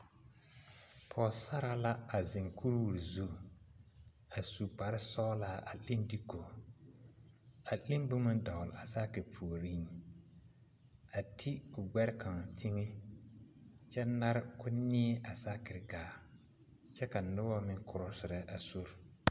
Pɔɔsaraa la a zeŋ kuriwire zu a su kparesɔglaa a leŋ diiko a leŋ boma dɔgle a saakire puoriŋ a ti o gbɛre kaŋa teŋɛ kyɛ nare ko neɛ a saakire gaa kyɛ ka nobɔ meŋ krɔsirɛ a sori.